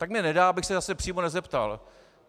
Tak mně nedá, abych se zase přímo nezeptal.